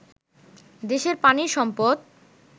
দেশের পানির সম্পদ